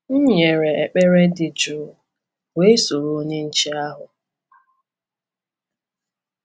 M nyere ekpere dị jụụ wee soro onye nche ahụ.